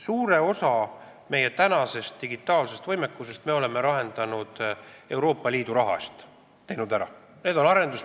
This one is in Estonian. Suure osa meie praegusest digitaalsest võimekusest me oleme Euroopa Liidu raha eest ära teinud.